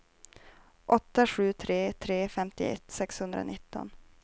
åtta sju tre tre femtioett sexhundranitton